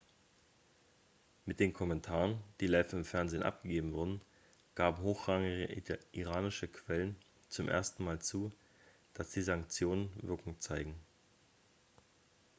mit den kommentaren die live im fernsehen abgegeben wurden gaben hochrangige iranische quellen zum ersten mal zu dass die sanktionen wirkung zeigen.x